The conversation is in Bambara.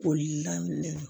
Boli daminɛ